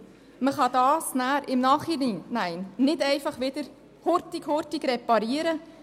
Man kann den angerichteten Schaden nachträglich nicht hurtig, hurtig reparieren.